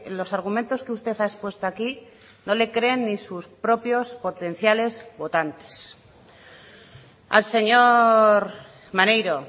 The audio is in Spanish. los argumentos que usted ha expuesto aquí no le creen ni sus propios potenciales votantes al señor maneiro